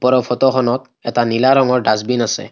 ওপৰৰ ফটো খনত এটা নীলা ৰঙৰ ডাছবিন আছে।